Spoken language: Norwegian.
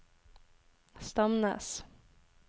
Stamnes